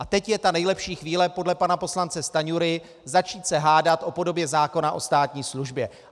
A teď je ta nejlepší chvíle podle pana poslance Stanjury začít se hádat o podobě zákona o státní službě.